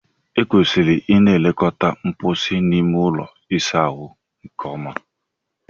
E kwesịrị Ị na-elekọta mposi na ime ụlọ ịsa ahụ nke ọma.